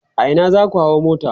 a Ina zaku hau mota?